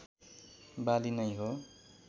बाली नै हो